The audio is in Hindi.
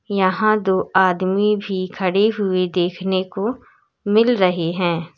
यहां दो आदमी भी खड़े हुए देखने को मिल रहे हैं।